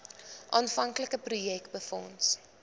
aanvanklike projek befonds